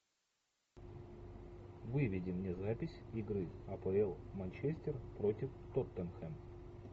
выведи мне запись игры апл манчестер против тоттенхэм